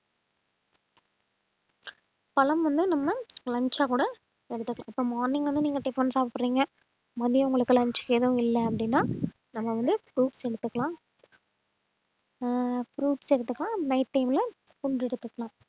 பழம் வந்து நம்ம lunch ஆ கூட எடுத்துக்கலாம் இப்ப morning வந்து நீங்க tiffin சாப்பிடுறீங்க மதியம் உங்களுக்கு lunch எதுவும் இல்லை அப்படின்னா நம்ம வந்து fruits எடுத்துக்கலாம் ஆஹ் fruits எடுத்துக்கலாம் night time ல எடுத்துக்கலாம்